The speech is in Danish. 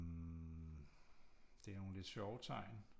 Det er nogle lidt sjove tegn